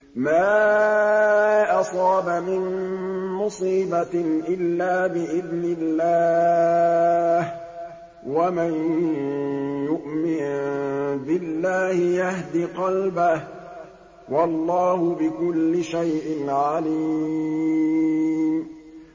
مَا أَصَابَ مِن مُّصِيبَةٍ إِلَّا بِإِذْنِ اللَّهِ ۗ وَمَن يُؤْمِن بِاللَّهِ يَهْدِ قَلْبَهُ ۚ وَاللَّهُ بِكُلِّ شَيْءٍ عَلِيمٌ